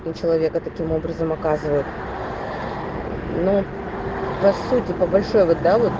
на человека таким образом оказывают ну по сути по большой вот да вот